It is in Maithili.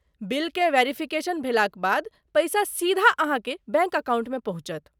बिलकेँ वेरीफिकेशन भेलाक बाद, पैसा सीधा अहाँके बैंक अकाउंटमे पहुँचत।